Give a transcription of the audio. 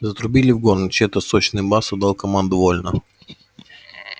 затрубили в горн и чей-то сочный бас отдал команду вольно